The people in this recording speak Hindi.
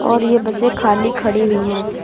और ये बसें खाली खड़ी हुई है।